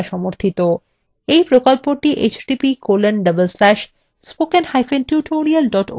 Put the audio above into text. এই প্রকল্পটি